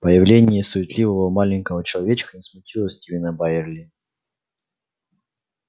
появление суетливого маленького человечка не смутило стивена байерли